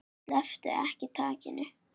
Slepptu ekki takinu.